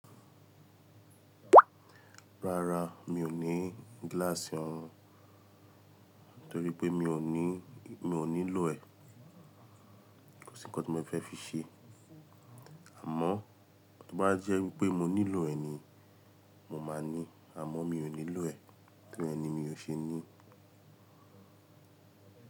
Rárá, mi ò ní gíláàsì ọrùn torípé mi ò ní, mi ò nílò ẹ̀. Kò sí nǹkan tí mo fẹ́ fi ṣe. Àmọ́ tí ó bá jẹ́ wípé mo nílò ẹ̀ ni, mo máa ní. Àmọ́ mi ò nílò ẹ̀, torí ẹni mi ò ṣe ní.